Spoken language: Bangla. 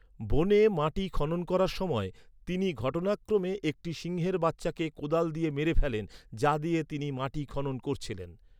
বনে মাটি খনন করার সময়, তিনি ঘটনাক্রমে একটি সিংহের বাচ্চাকে কোদাল দিয়ে মেরে ফেলেন যা দিয়ে তিনি মাটি খনন করছিলেন।